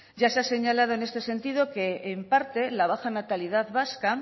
ya se ha señalado en este sentido que en parte la baja natalidad vasca